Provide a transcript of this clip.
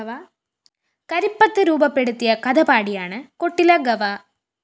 കരിപ്പത്ത് രൂപപ്പെടുത്തിയ കഥ പാടിയാണ് കൊട്ടില ഗവ